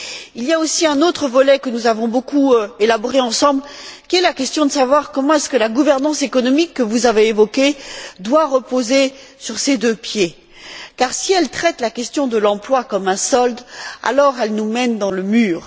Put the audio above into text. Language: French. Il y a aussi un autre volet que nous avons beaucoup élaboré ensemble, qui est la question de savoir comment la gouvernance économique que vous avez évoquée doit reposer sur ses deux pieds, car si elle traite la question de l'emploi comme un solde, alors elle nous mène dans le mur.